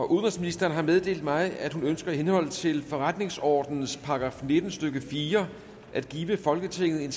udenrigsministeren har meddelt mig at hun ønsker i henhold til forretningsordenens § nitten stykke fire at give folketinget en